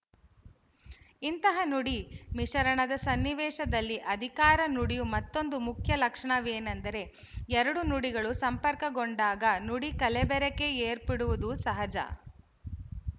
ಇಂತಹ ನುಡಿ ಮಿಶರಣದ ಸನ್ನಿವೇಶದಲ್ಲಿ ಅಧಿಕಾರ ನುಡಿಯು ಮತ್ತೊಂದು ಮುಖ್ಯ ಲಕ್ಷಣವೇನಂದರೆ ಎರಡು ನುಡಿಗಳು ಸಂಪರ್ಕಗೊಂಡಾಗ ನುಡಿ ಕಲಬೆರಕೆ ಏರ್ಪಡುವುದು ಸಹಜ